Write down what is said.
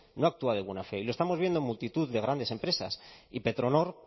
no actúa de buena fe y lo estamos viendo en multitud de grandes empresas y petronor